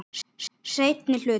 Seinni hluti.